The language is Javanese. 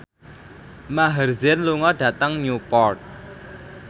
Maher Zein lunga dhateng Newport